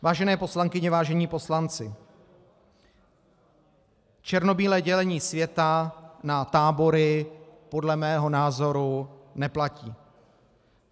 Vážené poslankyně, vážení poslanci, černobílé dělení světa na tábory podle mého názoru neplatí.